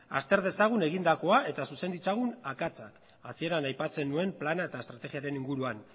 azter dezagun egindakoa eta zuzen ditzagun akatsak hasieran aipatzen nuen plana eta estrategiaren inguruan